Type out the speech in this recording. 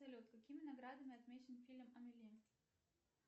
салют какими наградами отмечен фильм амели